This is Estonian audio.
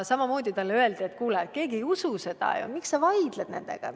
Talle öeldi, et kuule, keegi ju nagunii ei usu seda, miks sa vaidled nendega.